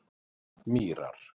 Mýrar